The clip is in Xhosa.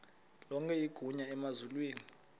lonke igunya emazulwini